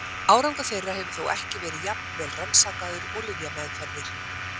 Árangur þeirra hefur þó ekki verið jafn vel rannsakaður og lyfjameðferðir.